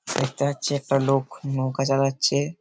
দেখতে পাচ্ছি-ই একটা লোক নৌকা চালাচ্ছে-এ ।